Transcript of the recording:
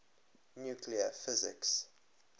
nuclear physics